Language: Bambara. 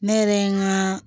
Ne yɛrɛ ye n ŋaa